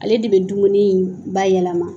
Ale de bɛ dumuni in ba yɛlɛma